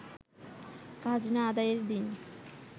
খাজনা আদায়ের দিন